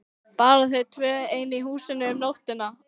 Bara þau tvö ein í húsinu um nóttina!